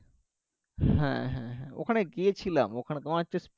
হ্যাঁ হ্যাঁ ওখানে গিয়েছিলাম ওখানে তোমার হচ্ছে